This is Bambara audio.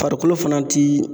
Farikolo fana ti